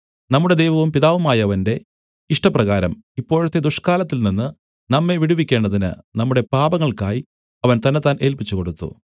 നമ്മുടെ ദൈവവും പിതാവുമായവന്റെ ഇഷ്ടപ്രകാരം ഇപ്പോഴത്തെ ദുഷ്കാലത്തിൽനിന്ന് നമ്മെ വിടുവിക്കേണ്ടതിന് നമ്മുടെ പാപങ്ങൾക്കായി അവൻ തന്നെത്താൻ ഏല്പിച്ചുകൊടുത്തു